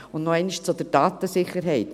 Und noch einmal zur Datensicherheit: